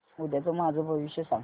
उद्याचं माझं भविष्य सांग